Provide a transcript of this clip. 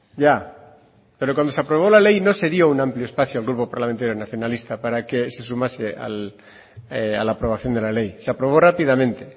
ya pero cuando se aprobó la ley no se dio un amplio espacio al grupo parlamentario nacionalista para que sumase a la aprobación de la ley se aprobó rápidamente